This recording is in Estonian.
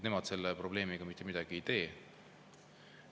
Nemad selle probleemiga mitte midagi ei tee.